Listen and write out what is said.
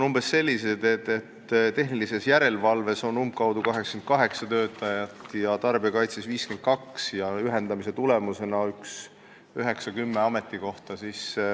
Tehnilise Järelevalve Ametis on umbkaudu 88 töötajat ja Tarbijakaitseametis 52, ühendamise tulemusena väheneb 9 või 10 ametikohta.